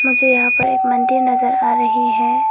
मुझे यहां पर एक मंदिर नजर आ रही है।